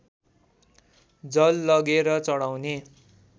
जल लगेर चढाउने